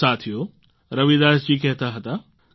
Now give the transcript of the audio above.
સાથીઓ રવિદાસ જી કહેતા હતા